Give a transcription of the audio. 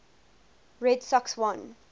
red sox won